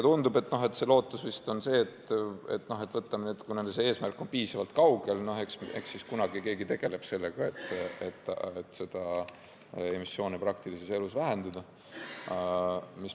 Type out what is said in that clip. Tundub, et lootus on selline: kuna eesmärk on piisavalt kaugel, siis eks kunagi keegi tegeleb sellega, et emissoone praktilises elus vähendada.